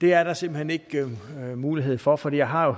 er der simpelt hen ikke mulighed for for jeg har